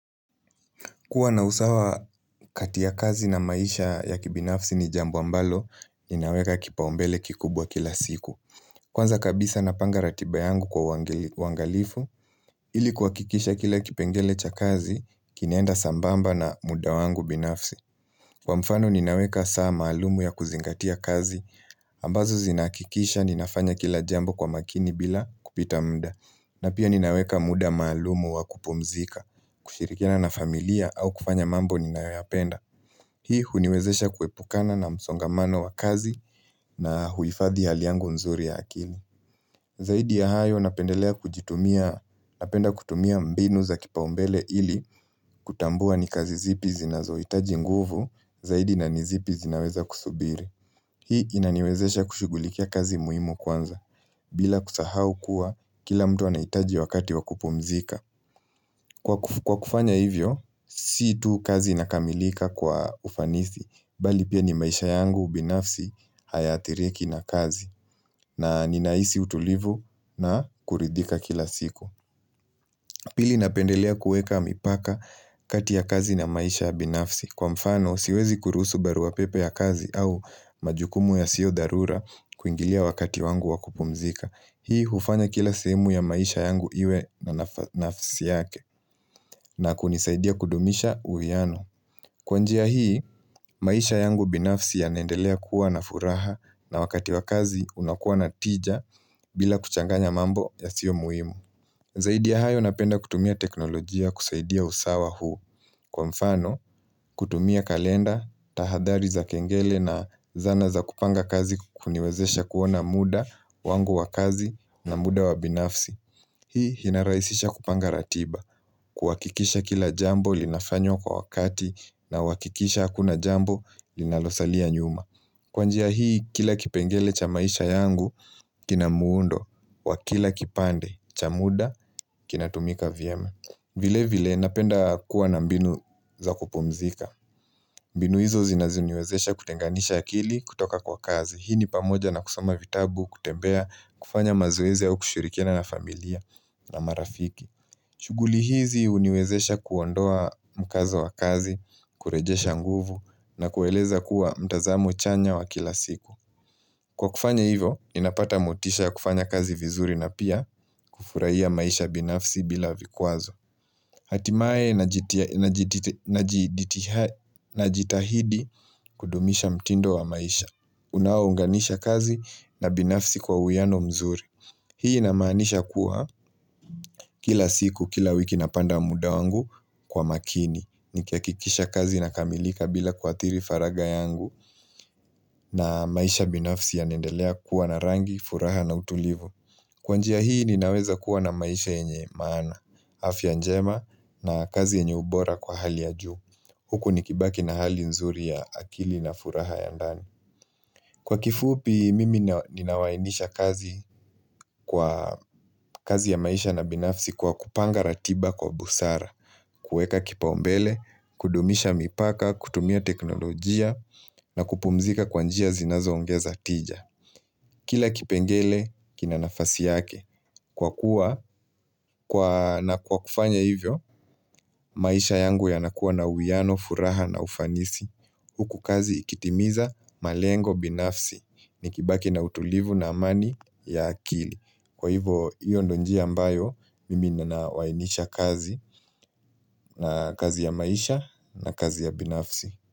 Kuwa na usawa kati ya kazi na maisha ya kibinafsi ni jambo ambalo, ninaweka kipaumbele kikubwa kila siku. Kwanza kabisa napanga ratiba yangu kwa wangalifu, ilikuhakikisha kila kipengele cha kazi, kinaenda sambamba na muda wangu binafsi. Kwa mfano ninaweka saa maalumu ya kuzingatia kazi, ambazo zinakikisha ninafanya kila jambo kwa makini bila kupita muda. Na pia ninaweka muda maalumu wakupumzika, kushirikiana na familia au kufanya mambo ninayoyapenda. Hii huniwezesha kuepukana na msongamano wa kazi na huhifadhi hali yangu nzuri ya akili. Zaidi ya hayo napendelea kujitumia, napenda kutumia mbinu za kipaumbele ili kutambua ni kazi zipi zinazohitaji nguvu zaidi na nizipi zinaweza kusubiri. Hii inaniwezesha kushugulikia kazi muhimu kwanza bila kusahau kuwa kila mtu anahitaji wakati wakupumzika. Kwa kufanya hivyo, si tu kazi inakamilika kwa ufanithi bali pia ni maisha yangu ubinafsi hayaathiriki na kazi na ninahisi utulivu na kuridhika kila siku. Pili napendelea kueka mipaka kati ya kazi na maisha ya binafsi. Kwa mfano, siwezi kurusu baruapepe ya kazi au majukumu ya sio dharura kuingilia wakati wangu wa kupumzika. Hii hufanya kila semu ya maisha yangu iwe na nafsi yake na kunisaidia kudumisha uviano. Kwa njia hii, maisha yangu binafsi yanaendelea kuwa na furaha na wakati wa kazi unakuwa na tija bila kuchanganya mambo ya sio muhimu. Zaidi ya hayo napenda kutumia teknolojia kusaidia usawa huu. Kwa mfano, kutumia kalenda, tahadhali za kengele na zana za kupanga kazi kuniwezesha kuona muda wangu wa kazi na muda wa binafsi. Hii hinarahisisha kupanga ratiba, kuhakikisha kila jambo linafanywa kwa wakati nawakikisha hakuna jambo linalosalia nyuma. Kwa njia hii kila kipengele cha maisha yangu, kina muundo, wa kila kipande, cha muda, kinatumika vyema. Vile vile napenda kuwa na mbinu za kupumzika. Mbinu hizo zinazoniwezesha kutenganisha akili kutoka kwa kazi. Hii ni pamoja na kusoma vitabu, kutembea, kufanya mazoezi au kushirikiana na familia. Na marafiki shughuli hizi huniwezesha kuondoa mkazo wa kazi kurejesha nguvu na kueleza kuwa mtazamo chanya wa kila siku Kwa kufanya hivo, ninapata motisha ya kufanya kazi vizuri na pia kufurahia maisha binafsi bila vikwazo Hatimaye na jitahidi kudumisha mtindo wa maisha Unaounganisha kazi na binafsi kwa uiano mzuri Hii inamaanisha kuwa kila siku, kila wiki napanda muda wangu kwa makini. Nikiiakikisha kazi inakamilika bila kuathiri faraga yangu na maisha binafsi yanaendelea kuwa na rangi, furaha na utulivu. Kwa njia hii ninaweza kuwa na maisha yenye maana, afya njema na kazi yenye ubora kwa hali ya juu. Huku nikibaki na hali nzuri ya akili na furaha ya ndani. Kwa kifupi mimi ninawainisha kazi kazi ya maisha na binafsi kwa kupanga ratiba kwa busara, kueka kipaumbele, kudumisha mipaka, kutumia teknolojia na kupumzika kwa njia zinazo ongeza tija. Kila kipengele, kina nafasi yake. Kwa kuwa na kwa kufanya hivyo, maisha yangu yanakuwa na uiano, furaha na ufanisi. Huku kazi ikitimiza malengo binafsi. Nikibaki na utulivu na amani ya akili. Kwa hivyo, hiyo ndio njia ambayo, mimi ninawainisha kazi na kazi ya maisha na kazi ya binafsi.